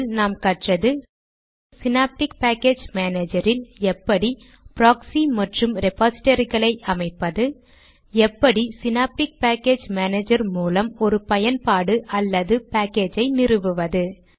இதில் நாம் கற்றது ஸினாப்டிக் பேக்கேஜ் மானேஜரில் எப்படி ப்ராக்ஸி மற்றும் ரெபாசிடரிகளை அமைப்பது எப்படி ஸினாப்டிக் பேக்கேஜ் மானேஜர் மூலம் ஒரு பயன்பாடு அல்லது பேக்கேஜை நிறுவுவது